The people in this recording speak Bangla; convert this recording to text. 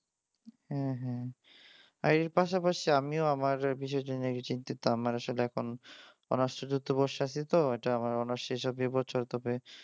হ্যাঁ হ্যাঁ আর এর পাশাপাশি আমিও আমার বিশেষজনদের কে নিয়ে চিন্তিত আমার আসলে এখন চতুর্থ বর্ষে আছি তো আমার অনার্স শেষ হবে এই বছর তবে।